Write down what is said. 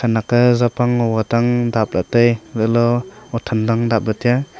ake zapang ngo ke tang dapla tai chatle huthan tan dapla tai a.